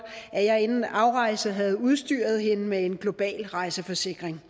at jeg inden afrejse havde udstyret hende med en global rejseforsikring